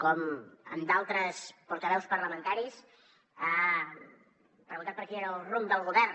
com d’altres portaveus parlamentaris ha preguntat per quin era el rumb del govern